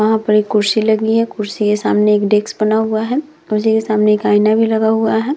वहाँ पर एक कुर्सी लगी है कुर्सी के सामने एक डेस्क बना हुआ है उसी के सामने एक आईना भी लगा हुआ है।